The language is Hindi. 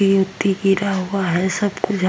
गिरा हुआ है --